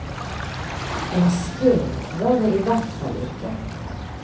En spurv var det i hvert fall ikke.